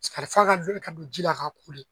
f'a ka dɔn ka don ji la k'a koli